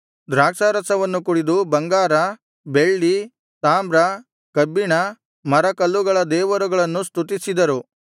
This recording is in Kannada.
ದ್ರಾಕ್ಷಾರಸವನ್ನು ಕುಡಿದು ಬಂಗಾರ ಬೆಳ್ಳಿ ತಾಮ್ರ ಕಬ್ಬಿಣ ಮರಕಲ್ಲುಗಳ ದೇವರುಗಳನ್ನು ಸ್ತುತಿಸಿದರು